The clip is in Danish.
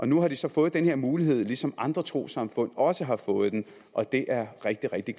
nu har de så fået den her mulighed ligesom andre trossamfund også har fået den og det er rigtig rigtig